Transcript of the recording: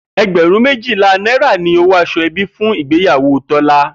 E̩gbè̩rún méjìlá náírà ni owó as̩o̩-e̩bí fún ìgbéyàwó Tó̩lá